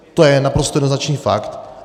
To je naprosto jednoznačný fakt.